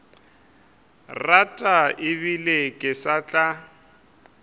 rata ebile ke sa tla